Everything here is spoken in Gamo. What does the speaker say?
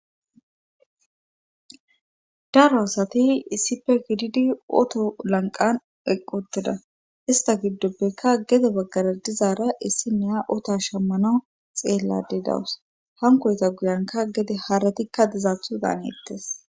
daro asati issipe gididi oto lanqqan equttida;ista gidopekka gede baggara dizaara issinniya otaa shammanawu xeellaadde dawus;hankoyta guyiyankka gede haretikka dizathodaanetes.